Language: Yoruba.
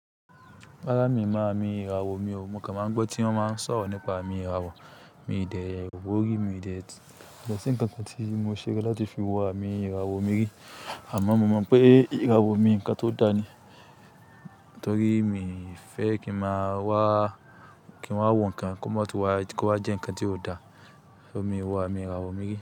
Rárá mi mọ àmì ìràwọ̀, mi ò mọ̀ kan máa ń gbọ́ tí wọ́n máa ń sọ̀rọ̀ nípa àmì ìràwọ̀. Mi dé wò rí, mi ò dé kò ṣi nǹkan kan tí mo ṣe láti fi wo àmì ìràwọ̀ mìírì. Àmọ́ mo mọ̀ pé ìràwọ̀ mi nǹkan tó da ni. Nítorí mi fẹ́ kí i máa wá, kín wá wọ́ nǹkan kó má tún wá, kó wá jẹ́ nǹkan tí ó da. Ṣo mi ò wo àmì ìràwọ̀ mìí rì?